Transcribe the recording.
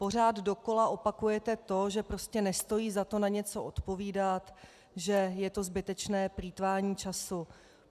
Pořád dokola opakujete to, že prostě nestojí za to na něco odpovídat, že je to zbytečné plýtvání času.